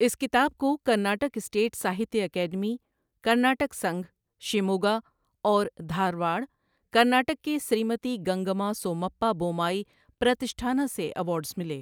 اس کتاب کو Karnataka state Sahitya academy, Karnataka Sangh, Shimoga, اور دھارواڑ، کرناٹک کے سریمتی گنگمّا سومپّا بومّائی پرتشٹھانا سے ایوارڈز ملے۔